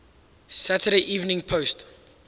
saturday evening post